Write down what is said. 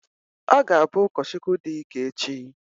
Ọ ga-abụ ụkọchukwu dị ike echi.